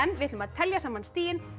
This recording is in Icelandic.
við ætlum að telja saman stigin